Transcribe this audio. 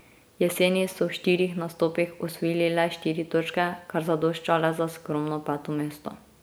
Jeseni so v štirih nastopih osvojili le štiri točke, kar zadošča le za skromno peto mesto.